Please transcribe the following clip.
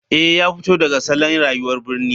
Eh ya fito daga salon rayuwar birni.